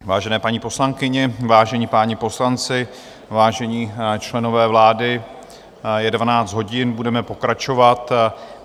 Vážené paní poslankyně, vážení páni poslanci, vážení členové vlády, je 12 hodin, budeme pokračovat.